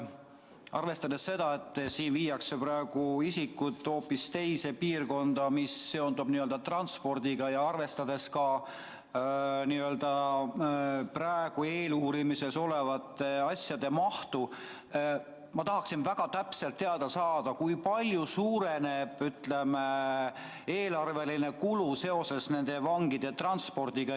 Arvestades seda, et nüüd tahetakse isikud viia hoopis teise piirkonda ja see seondub transpordiga, ja arvestades ka praegu eeluurimisel olevate asjade mahtu, ma tahaksin väga täpselt teada saada, kui palju suureneb eelarveline kulu seoses nende vangide transpordiga.